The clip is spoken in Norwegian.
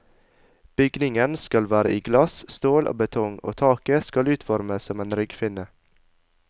Bygningen skal være i glass, stål og betong, og taket skal utformes som en ryggfinne.